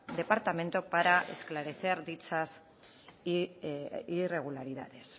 departamento para esclarecer dichas irregularidades